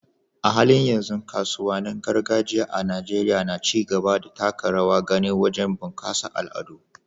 A halin yanzu, kasuwannin gargajiya a Najeriya na ci gaba da taka rawar gani wajen bunƙasa al'adu.